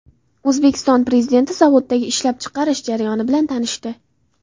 O‘zbekiston Prezidenti zavoddagi ishlab chiqarish jarayoni bilan tanishdi.